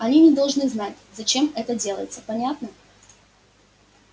они не должны знать зачем это делается понятно